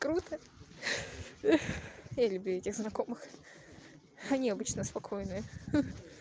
круто я люблю этих знакомых они обычно спокойные